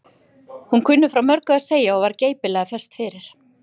Hún kunni frá mörgu að segja og var geipilega föst fyrir.